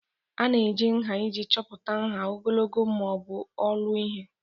A na-eji nha iji chọpụta nha, ogologo ma ọ bụ olu ihe.